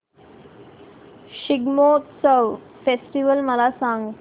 Shigmotsav festival मला सांग